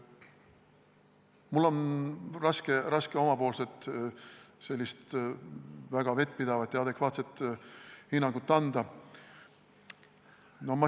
Mul on raske omapoolset väga vettpidavat ja adekvaatset hinnangut anda.